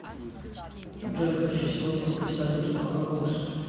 джой хочу сегодня купить валюту какой курс